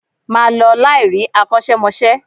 Ma lọ láì rí akosemose